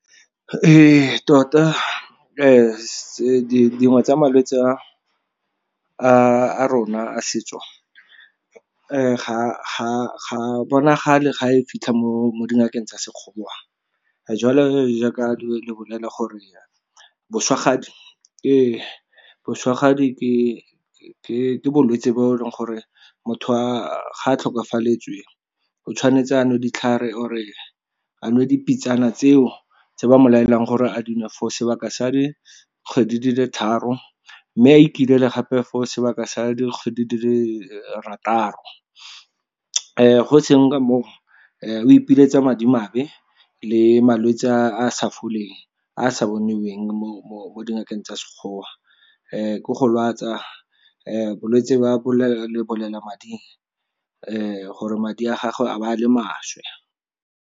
Ee, tota tsa malwetse a rona a setso, ga a bonagale ga e fitlha mo dingakeng tsa Sekgowa. Jalo e jaaka re bolela gore boswagadi ke bolwetse bo e leng gore motho ga tlhokafaletswe, o tshwanetse a nwe ditlhare, a nwe dipitsana tseo tse ba mo laelang gore a dinwe for sebaka sa di kgwedi di le tharo, mme a ikilele gape for sebaka sa dikgwedi di le rataro. Go seng ka mo o, o ipiletsa madimabe le malwetse a a sa foleng, a a sa bonweng mo dingakeng tsa Sekgowa. Ke go lwatsa bolwetse ba lebolelamading, gore madi a gagwe a ba a le maswe.